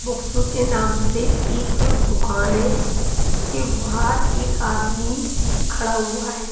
Books के नाम से एक दुकान है उसके बाहर एक आदमी खड़ा हुआ है।